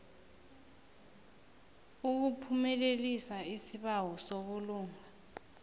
ukuphumelelisa isibawo sobulunga